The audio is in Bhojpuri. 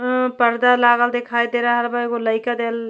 अ परदा लागल दिखाई दे रहल बा। एगो लईका दि --